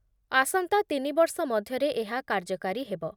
ଆସନ୍ତା ତିନି ବର୍ଷ ମଧ୍ୟରେ ଏହା କାର୍ଯ୍ୟକାରୀ ହେବ ।